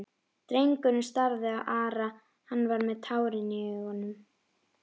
Drengurinn starði á Ara, hann var með tárin í augunum.